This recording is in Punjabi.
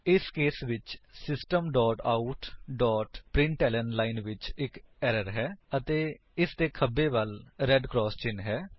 ਇਸ ਕੇਸ ਵਿੱਚ ਸਿਸਟਮ ਆਉਟ ਪ੍ਰਿੰਟਲਨ ਲਾਈਨ ਵਿੱਚ ਇੱਕ ਏਰਰਸ ਹੈ ਅਤੇ ਇਸਲਈ ਇਸਦੇ ਖੱਬੇ ਵੱਲ ਰੇਡ ਕਰਾਸ ਚਿੰਨ ਹੈ